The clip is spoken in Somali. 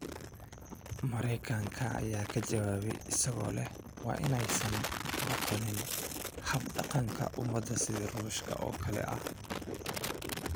Mareykanka ayaa ka jawaabay isagoo leh waa inaysan noqon hab-dhaqanka ummad sida Ruushka oo kale ah.